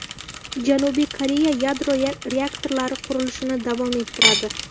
Janubiy Koreya yadro reaktorlari qurilishini davom ettiradi.